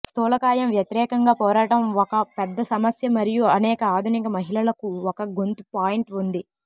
స్థూలకాయం వ్యతిరేకంగా పోరాటం ఒక పెద్ద సమస్య మరియు అనేక ఆధునిక మహిళలకు ఒక గొంతు పాయింట్ ఉంది